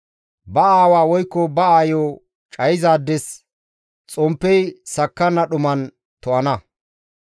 Ba aawa woykko ba aayo cayizaades, xomppey sakkanna dhuman to7ana.